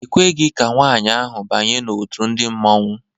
E kweghị ka nwaanyị ahụ banye n'òtù ndị Mmanwu.